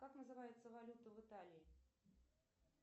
как называется валюта в италии